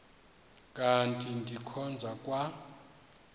kanti ndikhonza kwa